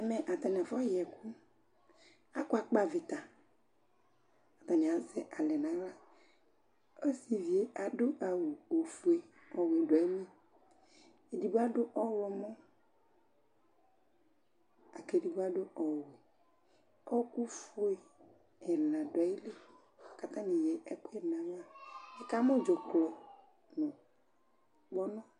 Ɛmɛ atanɩ afɔ yɛkʋ Akʋa kpavɩta, atanɩ azɛ alɛ naɣlaOsivie adʋ awʋ ofue ɔwɛ dʋ ayili, edigbo adʋ ɔɣlɔmɔ, akedigbo adʋ ɔwɛƆɔkʋ fue ɛna dʋ ayili k 'atanɩ eyǝ ɛkʋyɛ dʋ nayiliNɩkamʋ dzʋklɔ nʋ kpɔnɔ